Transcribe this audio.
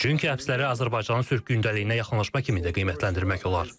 Çünki həbsləri Azərbaycanın sülh gündəliyinə yaxınlaşma kimi də qiymətləndirmək olar.